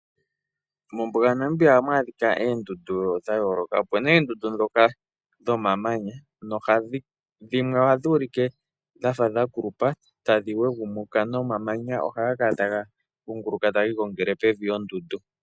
Mombuga yaNamibia ohamu adhika oondundu dhayooloka. Ope na oondundu ndhoka dhomamanya dhimwe ohadhi ulike dhafa dhakulupa tadhi wegumuka nomamanya ohaga kala taga kunguluka tagi igongele pevi lyondundu.